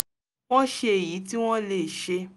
wọ́n ṣe èyí tí wọ́n lè ṣe